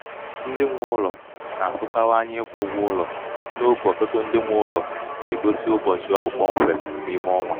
ndị nwē ụlọ̀ nà-àtụkawa anya ịkwū ụgwọụlọ n’ogè ọ̀tụtụ ndị na-enye ụlọ̀ nà-ègosi ụbọ̀chị̀ ọ bụ̀ kpọmkwèm n’ime ọnwā